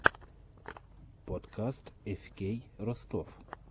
подкаст эфкей ростов